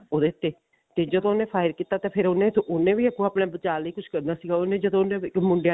ਉਹਦੇ ਉੱਤੇ ਤੇ ਜਦੋਂ ਉਹਨੇ fire ਕੀਤਾ ਫ਼ੇਰ ਉਹਨੇ ਫ਼ੇਰ ਉਹਨੇ ਵੀ ਆਪਣੇ ਬਚਾ ਲਈ ਕੁੱਝ ਕਰਨਾ ਉਹਨੇ ਜਦੋਂ ਉਹਨੇ ਮੁੰਡਿਆਂ ਨੇ